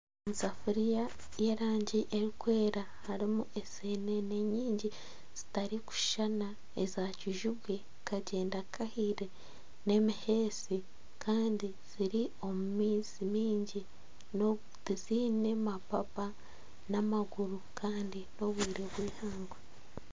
Esafuriya y'erangi erikwera harimu eseenene nyingi zitarikushushana eza kijubwe, kagyenda kahaire n'emihesi kandi ziri omu maizi mingi tiziine mapapa n'amaguru kandi n'obwire bw'eihangwe